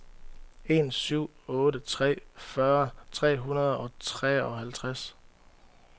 en syv otte tre fyrre tre hundrede og treoghalvtreds